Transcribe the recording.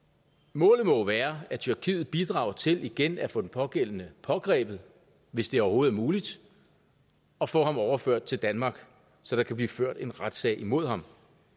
målet må være at tyrkiet bidrager til igen at få den pågældende pågrebet hvis det overhovedet er muligt og få ham overført til danmark så der kan blive ført en retssag imod ham